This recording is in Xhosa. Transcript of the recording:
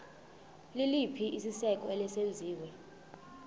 liliphi isiko eselenziwe